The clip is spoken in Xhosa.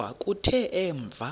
kodwa kuthe emva